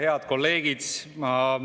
Head kolleegid!